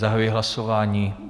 Zahajuji hlasování.